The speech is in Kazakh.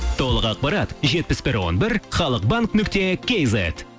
толық ақпарат жетпіс бір он бір халық банк нүкте кейзет